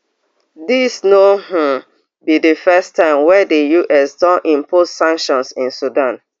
dis no um be di first time wey di us don impose sanctions in sudan